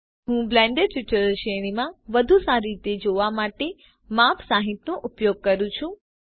હું Blender tutorial શ્રેણીમાં વધુ સારી રીતે જોવા માટે માપ 60નો ઉપયોગ કરું છુ